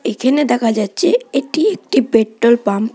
এখানে দেখা যাচ্ছে এটি একটি পেট্রোল পাম্প ।